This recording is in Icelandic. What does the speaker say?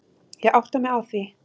Ég átta mig á því.